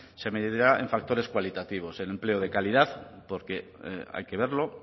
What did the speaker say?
se medirá en factores cualitativos en empleo de calidad porque hay que verlo